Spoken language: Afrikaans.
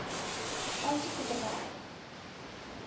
aansoek te verwerk